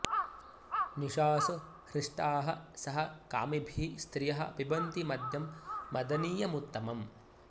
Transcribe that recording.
निशासु हृष्टाः सह कामिभिः स्त्रियः पिबन्ति मद्यं मदनीयमुत्तमम्